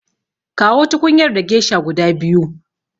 Kawo tukunyar da gesha guda biyu.